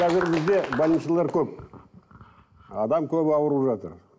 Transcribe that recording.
қазір бізде больницалар көп адам көп ауырып жатыр